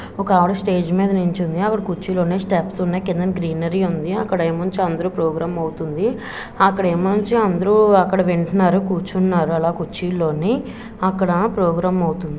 ఒక ఆవిడ స్టేజ్ మీద నిల్చుంది. అక్కడ కుర్చీలు ఉన్నాయి. స్టెప్స్ ఉన్నాయి. కిందన గ్రీనరీ ఉంది. అక్కడే మొంచి అందరూ ప్రోగ్రామ్ అవుతుంది. అక్కడేమొంచి అందరూ అక్కడ వింటున్నారు కూర్చున్నారు అలా కూర్చిల్లోని అక్కడ ప్రోగ్రామ్ అవుతుంది.